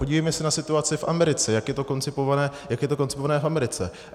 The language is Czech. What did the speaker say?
Podívejme se na situaci v Americe, jak je to koncipované v Americe.